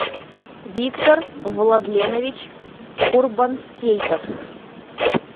виктор владленович курбансейтов